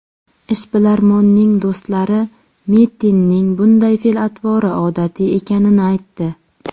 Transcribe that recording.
Ishbilarmonning do‘stlari Mitinning bunday fe’l-atvori odatiy ekanini aytdi.